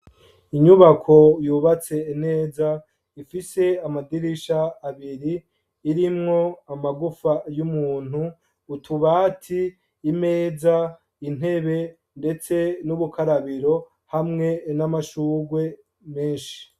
Inyubako yubatse neza ifise amadirisha abiri irimwo amagufa y’umuntu ,utubati ,imeza, intebe ndetse n’ubukarabiro hamwe n’amashugwe menshi.